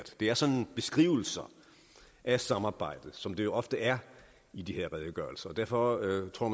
det er sådan beskrivelser af samarbejdet som det jo ofte er i de her redegørelser og derfor tror